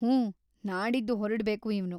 ಹೂಂ, ನಾಡಿದ್ದು ಹೊರಡ್ಬೇಕು ಇವ್ನು.